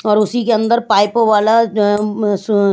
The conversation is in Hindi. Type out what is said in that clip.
और उसी के अंदर पाइपों वाला जो अम स --